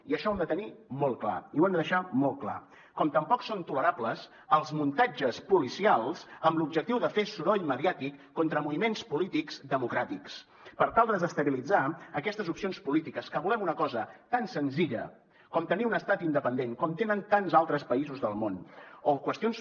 i això ho hem de tenir molt clar i ho hem de deixar molt clar com tampoc són tolerables els muntatges policials amb l’objectiu de fer soroll mediàtic contra moviments polítics democràtics per tal de desestabilitzar aquestes opcions polítiques que volem una cosa tan senzilla com tenir un estat independent com tenen tants altres països del món o qüestions